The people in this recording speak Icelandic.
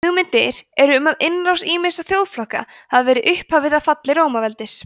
hugmyndir eru um að innrásir ýmissa þjóðflokka hafi verið upphafið að falli rómaveldis